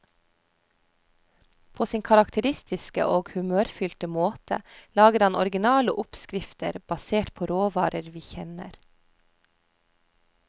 På sin karakteristiske og humørfylte måte lager han originale oppskrifter, basert på råvarer vi kjenner.